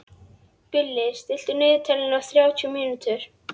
Gulli, stilltu niðurteljara á þrjátíu mínútur.